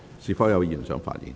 是否有議員想發言？